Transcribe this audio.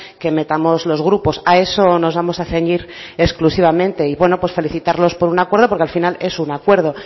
que metamos los grupos a eso nos vamos a ceñir exclusivamente y buenos pues felicitarlos por un acuerdo porque al final es un acuerdo